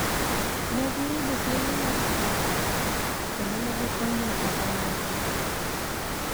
Ne giyudo thuolo mar chudo, kendo ne gikonyo ogandagi